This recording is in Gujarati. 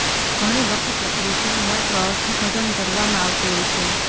ઘણીવખતે કૃતિનું માત્ર અર્થઘટન કરવામાં આવતું હોય છે